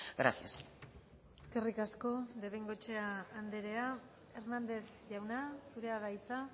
gracias eskerrik asko de bengoechea andrea hernández jauna zurea da hitza